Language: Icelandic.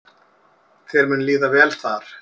Þér mun líða vel þar.